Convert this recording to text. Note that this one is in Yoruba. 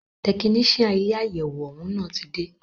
Tẹkinician ilé àyẹwò òún ti dé.